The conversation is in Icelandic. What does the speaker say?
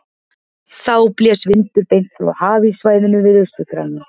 Þá blæs vindur beint frá hafíssvæðinu við Austur-Grænland.